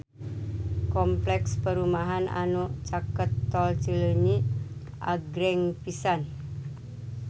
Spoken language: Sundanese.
Kompleks perumahan anu caket Tol Cileunyi agreng pisan